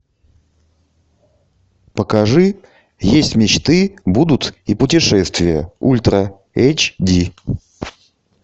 покажи есть мечты будут и путешествия ультра эйч ди